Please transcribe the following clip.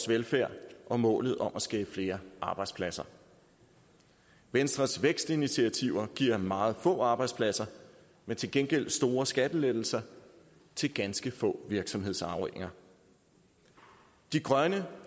velfærd og målet om at skabe flere arbejdspladser venstres vækstinitiativer giver meget få arbejdspladser men til gengæld store skattelettelser til ganske få virksomhedsarvinger de grønne